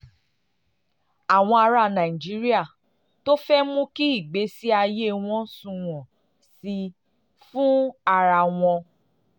àwọn ará nàìjíríà tó fẹ́ mú kí ìgbésí ayé wọn sunwọ̀n sí i fún ara wọn